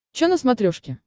че на смотрешке